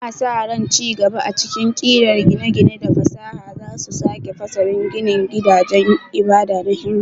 Ana sa ran ci gaba a cikin ƙirar gine-gine da fasaha za su sake fasalin ginin gidajen ibada na Hindu.